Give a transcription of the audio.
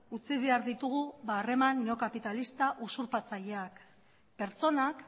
utzi behar ditugu harreman neokapitalista usurpatzaileak pertsonak